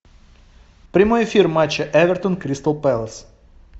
прямой эфир матча эвертон кристал пэлас